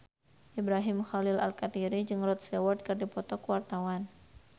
Ibrahim Khalil Alkatiri jeung Rod Stewart keur dipoto ku wartawan